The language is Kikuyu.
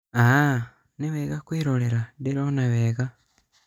aah!nĩwega kwĩrorera, ndirona wega